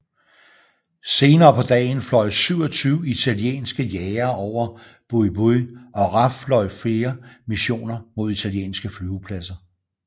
Senere på dagen fløj 27 italienske jagere over Buq Buq og RAF fløje flere missioner mod italienske flyvepladser